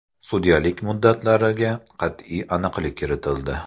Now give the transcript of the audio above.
Sudyalik muddatlariga qat’iy aniqlik kiritildi.